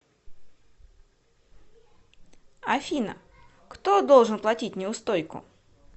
афина кто должен платить неустойку